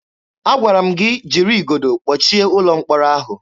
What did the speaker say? Agwara m gị jiri igodo kpọchie ụlọ mkpọrọ ahụ!